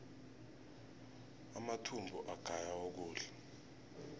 amathumbu agaya ukudla